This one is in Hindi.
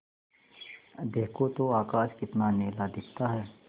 देखो तो आकाश कितना नीला दिखता है